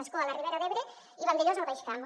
ascó a la ribera d’ebre i vandellòs al baix camp